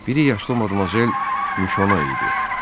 Biri yaşlı Madmazel Mişono idi.